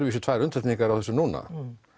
vísu tvær undantekningar á þessu núna